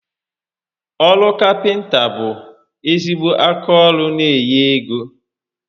Oru Kapịnta bụ ezigbo aka ọrụ n'enye égo